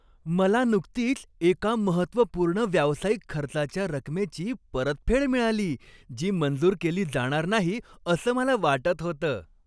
मला नुकतीच एका महत्त्वपूर्ण व्यावसायिक खर्चाच्या रकमेची परतफेड मिळाली, जी मंजूर केली जाणार नाही असं मला वाटत होतं.